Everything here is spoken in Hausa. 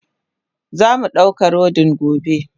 Zamu dauka rodin gobe.